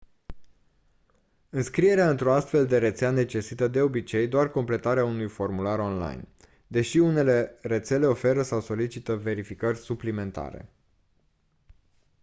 înscrierea într-o astfel de rețea necesită de obicei doar completarea unui formular online deși unele rețele oferă sau solicită verificări suplimentare